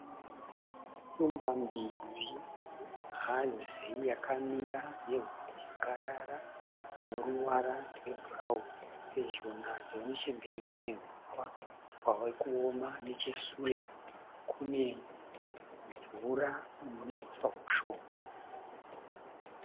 Shumba mbiri hadzi yakamira nehono yakarara dzine ruvara rwebhurauni, pedyo nadzo nechemberi kune huswa hwave kuoma nechesure kune mvura ine huswa hushoma.